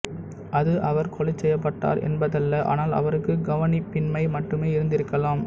அது அவர் கொலைச் செய்யப்பட்டார் என்பதல்ல ஆனால் அவருக்கு கவனிப்பின்மை மட்டுமே இருந்திருக்கலாம்